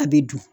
A bɛ dun